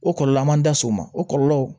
O kɔlɔlɔ man da s'o ma o kɔlɔlɔ